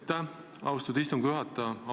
Aitäh, austatud istungi juhataja!